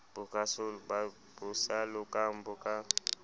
bo sa lokang bo ka